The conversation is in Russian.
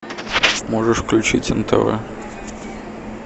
можешь включить нтв